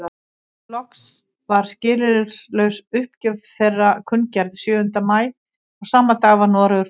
Loks var skilyrðislaus uppgjöf þeirra kunngerð sjöunda maí og sama dag var Noregur frjáls.